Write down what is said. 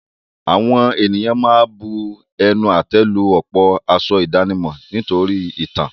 Àwọn ènìyàn ma ń bu ẹnu àtẹ́ lu ọ̀pọ̀ aṣọ ìdánimọ̀ nítorí ìtàn.